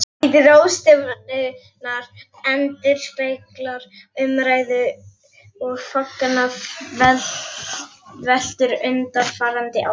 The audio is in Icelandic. Heiti ráðstefnunnar endurspeglar umræðu og vangaveltur undanfarinna ára.